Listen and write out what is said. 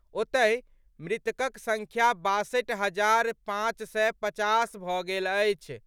ओतहि, मृतकक संख्या बासठि हजार पांच सय पचास भऽ गेल अछि।